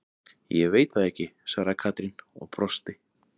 Ég veit það ekki svaraði Katrín og brosti.